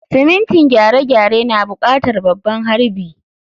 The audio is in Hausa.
Simintin gyare-gyare na buƙatar babban harbi.